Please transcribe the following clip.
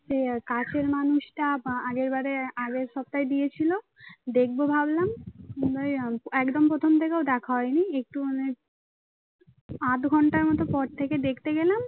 কাছের মানুষটা বা আগের বারে আগের সপ্তাহে দিয়েছিল দেখব ভাবলাম একদম প্রথম থেকেও দেখা হয়নি একটুখানি আধঘন্টার মত পর থেকে দেখতে গেলাম